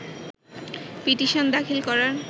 petition দাখিল করার